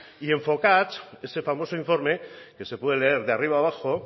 y enfocats ese famoso informe que se puede leer de arriba abajo